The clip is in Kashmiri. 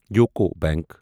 UCO bank